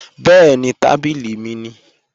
Bẹ́ẹ̀ni, tábìlì mi nìí